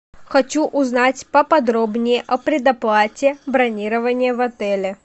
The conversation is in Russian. хочу узнать поподробнее о предоплате бронирования в отеле